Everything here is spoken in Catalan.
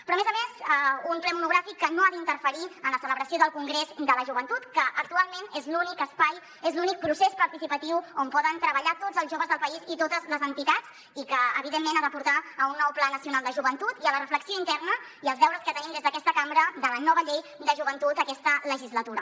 però a més a més un ple monogràfic que no ha d’interferir en la celebració del congrés de la joventut que actualment és l’únic espai és l’únic procés participatiu on poden treballar tots els joves del país i totes les entitats i que evidentment ha de portar a un nou pla nacional de joventut i a la reflexió interna i als deures que tenim des d’aquesta cambra de la nova llei de joventut aquesta legislatura